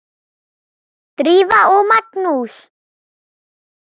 Drífa og Magnús.